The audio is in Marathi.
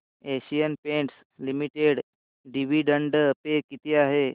Asian Paints Limited dividend pay किती आहे